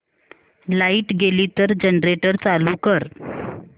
light गेली तर generator चालू कर